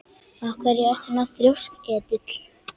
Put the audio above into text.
Af hverju ertu svona þrjóskur, Edil?